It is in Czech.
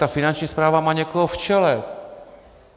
Ta Finanční správa má někoho v čele.